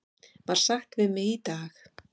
var sagt við mig í dag.